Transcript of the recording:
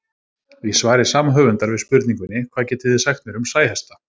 Í svari sama höfundar við spurningunni Hvað getið þið sagt mér um sæhesta?